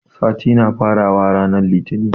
Sati na fara wa ranar litinin